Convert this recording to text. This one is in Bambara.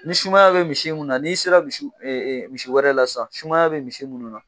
Ni sumaya bɛ misi mun na n'i sera misiwɛrɛ la sisan sumaya bɛ misi minnu na